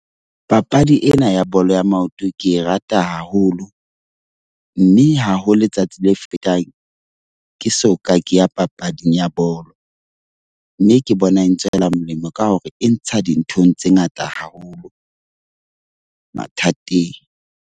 Papadi ena ya bolo ya maoto ke e rata haholo. Mme ha ho letsatsi le fetang ke soka ke ya papading ya bolo. Mme ke bona e ntswela molemo ka hore e ntsha dinthong tse ngata haholo, mathateng.